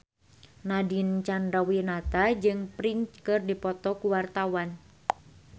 Nadine Chandrawinata jeung Prince keur dipoto ku wartawan